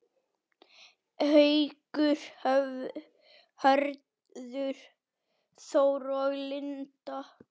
Haukur, Hörður Þór og Linda.